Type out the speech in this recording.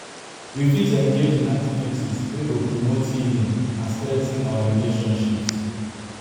We fit engage in activities wey go promote healing and strengthen our relationships.